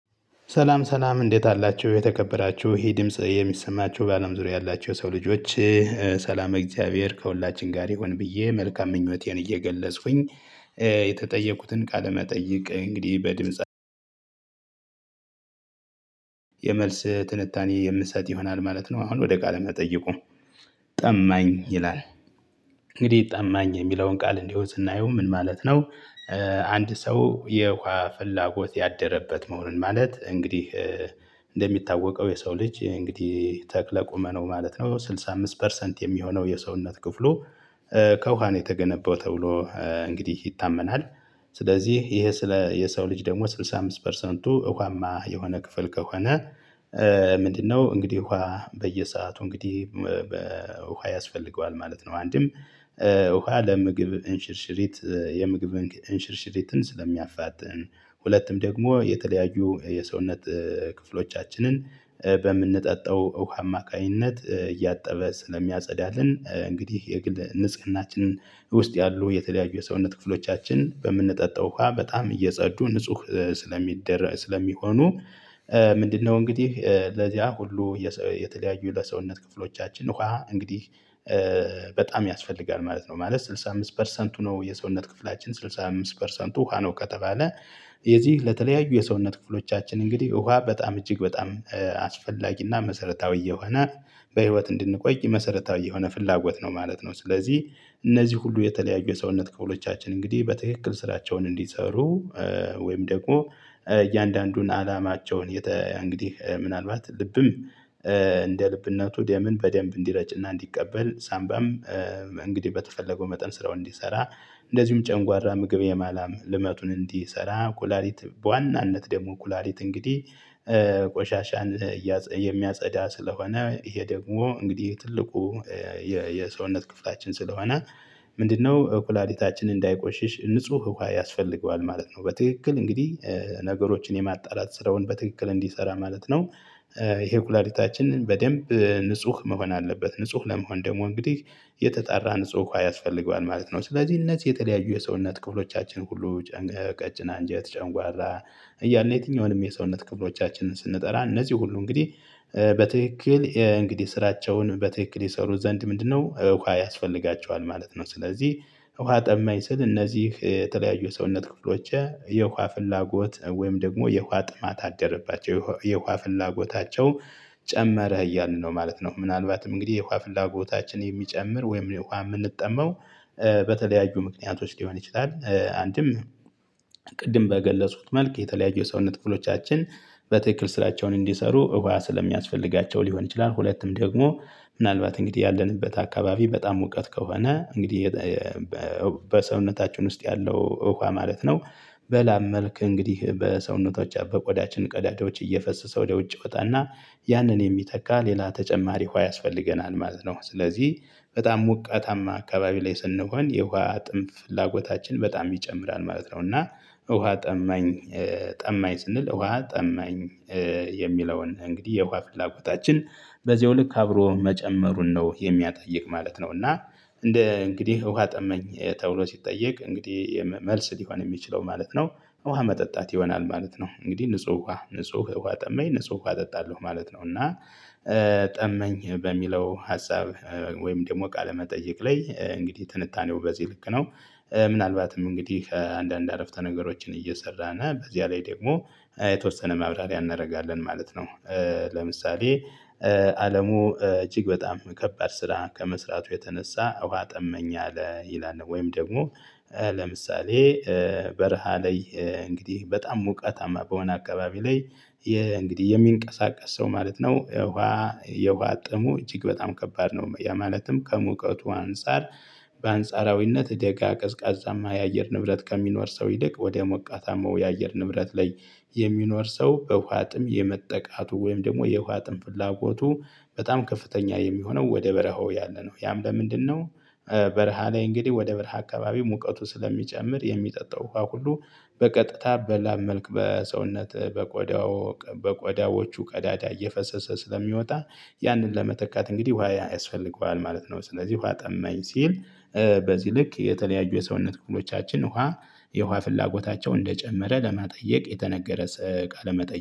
ሰላም ሰላም እንዴት አላችሁ የተከበራችሁ ይሄ ድምጽ የሚሰማችሁ በአለም ዙሪያ ያላችሁ የሰው ልጆች። ሰላም እግዚአብሔር ከሁላችን ጋር ይሁን ብዬ መልካም ምኞቴን እየገለጽኩኝ የተጠየቁትን ቃለመጠየቅ እንግዲህ በድምጽ። የመልስ ትንታኔ የምሰጥ ይሆናል ማለት ነው። አሁን ወደ ቃል መጠየቁ። ጠማኝ ይላል። እንግዲህ ጠማኝ የሚለውን ቃል እንዲሁ ስናየው ምን ማለት ነው? አንድ ሰው የውሃ ፍላጎት ያደረበት መሆን ማለት እንግዲህ። እንደሚታወቀው የሰው ልጅ እንግዲህ ተክለ ቁመናው ማለት ነው ስድሳ አምስት ፐርሰንት የሚሆነው የሰውነት ክፍሉ። ከውሃ ነው የተገነባው ተብሎ እንግዲህ ይታመናል። ስለዚህ ይሄ ስለ የሰው ልጅ ደግሞ ስድሳ አምስት ፐርሰንቱ ውሃማ የሆነ ክፍል ከሆነ። ምንድነው እንግዲህ እውሃ በየሰአቱ እንግዲህ? ውሃ ያስፈልገዋል ማለት ነው። አንድም ውሃ ለምግብ እንሽርሽሪት የምግብ እንሽርሽሪትን ስለሚያፋጥን። ሁለትም ደግሞ የተለያዩ የሰውነት ክፍሎቻችንን በምንጠጣው ውሃ አማካኝነት እያጠበ ስለሚያጸዳልን እንግዲህ የግል ንጽህናችን ውስጥ ያሉ የተለያዩ የሰውነት ክፍሎቻችን በምንጠጣው ውሃ በጣም እየጸዱ ንጹህ ስለሚደረግ ስለሚሆኑ። ምንድነው? እንግዲህ ለዚያ ሁሉ የተለያዩ ለሰውነት ክፍሎቻችን ውሃ እንግዲህ በጣም ያስፈልጋል ማለት ነው። ማለት ስድሳ አምስት ፐርሰንቱ ነው የሰውነት ክፍላችን ስድሳ አምስት ፐርሰንቱ ውሃ ነው ከተባለ። የዚህ ለተለያዩ የሰውነት ክፍሎቻችን እንግዲህ ውሃ በጣም እጅግ በጣም አስፈላጊና መሰረታዊ የሆነ በህይወት እንድንቆይ መሰረታዊ የሆነ ፍላጎት ነው ማለት ነው። ስለዚህ እነዚህ ሁሉ የተለያዩ የሰውነት ክፍሎቻችን እንግዲህ በትክክል ስራቸውን እንዲሰሩ። ወይም ደግሞ እያንዳንዱን አላማቸውን እንግዲህ ምናልባት ልብም እንደ ልብነቱ ደምን በደንብ እንዲረጭና እንዲቀበል ሳምባም እንግዲህ በተፈለገው መጠን ስራውን እንዲሰራ። እንደዚሁም ጨንጓራ ምግብ የማላም ልመቱን እንዲሰራ ኩላሊት በዋናነት ደግሞ ኩላሊት እንግዲህ ቆሻሻን የሚያጸዳ ስለሆነ። ይሄ ደግሞ እንግዲህ ትልቁ የሰውነት ክፍላችን ስለሆነ። ምንድነው? ኩላሊታችን እንዳይቆሽሽ ንጹህ ውሃ ያስፈልገዋል ማለት ነው። በትክክል እንግዲህ ነገሮችን የማጣላት ስራውን በትክክል እንዲሰራ ማለት ነው። ይሄ ኩላሊታችንን በደንብ ንጹህ መሆን አለበት ንጹህ ለመሆን ደግሞ እንግዲህ የተጣራ ንጹህ ውሃ ያስፈልገዋል ማለት ነው። ስለዚህ እነዚህ የተለያዩ የሰውነት ክፍሎቻችን ሁሉ። ቀጭን አንጀት ጨንጓራ እያልነ የትኛውንም የሰውነት ክፍሎቻችንን ስንጠራ እነዚህ ሁሉ እንግዲህ በትክክል እንግዲህ ስራቸውን በትክክል የሰሩት ዘንድ ምንድነው? ውሃ ያስፈልጋቸዋል ማለት ነው። ስለዚህ ውሃ ጠማኝ ስል እነዚህ የተለያዩ ሰውነት ክፍሎች የውሃ ፍላጎት ወይም ደግሞ የውሃ ጥማት አደረባቸው የውሃ ፍላጎታቸው ጨመረ እያልን ነው ማለት ነው። ምናልባትም እንግዲህ የኳ ፍላጎታችን የሚጨምር ወይም የውሃ የምንጠማው በተለያዩ ምክንያቶች ሊሆን ይችላል። አንድም። ቅድም በገለጽኩት መልክ የተለያዩ የሰውነት ክፍሎቻችን በትክክል ስራቸውን እንዲሰሩ ውሃ ስለሚያስፈልጋቸው ሊሆን ይችላል። ሁለቱም ደግሞ ምናልባት እንግዲህ ያለንበት አካባቢ በጣም ሙቀት ከሆነ እንግዲህ። በሰውነታችን ውስጥ ያለው ውሃጨማለት ነው። በላብ መልክ እንግዲህ በሰውነቶች ያው በቆዳችን ቀዳዳዎች እየፈሰሰ ወደ ውጭ ይወጣና ያንን የሚተካ ሌላ ተጨማሪ ውሃ ያስፈልገናል ማለት ነው። ስለዚህ በጣም ሞቃታማ አካባቢ ላይ ስንሆን የውሃ ጥም ፍላጎታችን በጣም ይጨምራል ማለት ነው። እና ውሃ ጠማኝ። ጠማኝ ስንል ውሃ ጠማኝ። የሚለውን እንግዲህ የውሃ ፍላጎታችን በዚሁ ልክ አብሮ መጨመሩን ነው የሚያጠይቅ ማለት ነው። እና እንደ እንግዲህ ውሃ ጠማኝ ተብሎ ሲጠየቅ እንግዲህ መልስ ሊሆን የሚችለው ማለት ነው። ውሃ መጠጣት ይሆናል ማለት ነው። እንግዲህ ንጹህ ውሃ ንጹህ እውሃ ጠመኝ ንጹህ እውሃ እጠጣለሁ ማለት ነው። እና ጠማኝ በሚለው ሀሳብ ወይም ደግሞ ቃለ መጠይቅ ላይ እንግዲህ ትንታኔው በዚህ ልክ ነው። ምናልባትም እንግዲህ አንዳንድ አረፍተ ነገሮችን እየሰራና በዚያ ላይ ደግሞ የተወሰነ ማብራሪያ እናደርጋለን ማለት ነው። ለምሳሌ። አለሙ እጅግ በጣም ከባድ ስራ ከመስራቱ የተነሳ ውሃ ጠማኝ አለ ይላል። ወይም ደግሞ። ለምሳሌ። በረሃ ላይ እንግዲህ በጣም ሞቀታማ በሆነ አካባቢ ላይ የእንግዲህ የሚንቀሳቀስ ሰው ማለት ነው የውሃ የውሃ ጥሙ እጅግ በጣም ከባድ ነው ያ ማለትም ከሙቀቱ አንፃር። በአንጻራዊነት ደጋ ቀዝቃዛማ የአየር ንብረት ከሚኖር ሰው ይልቅ ወደ ሞቃታማው የአየር ንብረት ላይ። የሚኖር ሰው በውሃ ጥም የመጠቃቱ ወይም ደግሞ የውሃ ጥም ፍላጎቱ በጣም ከፍተኛ የሚሆነው ወደ በረሃው ያለነው ያም ለምንድነው? በረሃ ላይ እንግዲህ ወደ በረሃ አካባቢ ሙቀቱ ስለሚጨምር የሚጠጣው ውሃ ሁሉ በቀጥታ በላብ መልክ በሰውነት በቆዳው በቆዳዎቹ ቀዳዳ እየፈሰሰ ስለሚወጣ። ያንን ለመተካት እንግዲህ ውሃ ያስፈልገዋል ማለት ነው። ስለዚህ ውሃ ጠማኝ ሲል። በዚህ ልክ የተለያዩ የሰውነት ክፍሎቻችን ውሃ የውሃ ፍላጎታቸው እንደጨመረ ለመጠየቅ የተነገረ። ቃለ መጠየ